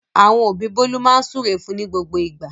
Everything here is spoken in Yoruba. Àwọn òbí Bólú máa ń súre fún ní gbogbo ìgbà.